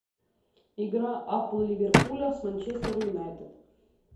игра апл ливерпуля с манчестер юнайтед